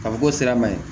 Ka fɔ ko sira man ɲi